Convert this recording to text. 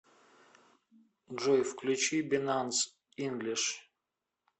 джой включи бинанс инглиш